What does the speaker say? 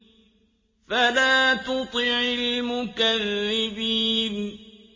فَلَا تُطِعِ الْمُكَذِّبِينَ